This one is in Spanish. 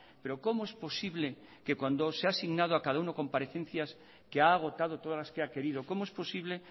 pero cómo es posible que cuando se ha asignado a cada uno comparecencias que ha agotado todas las que ha querido cómo es posible